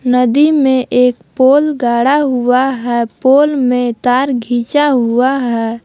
नदी में एक पोल गाड़ा हुआ है पोल में तार घीचा हुआ है।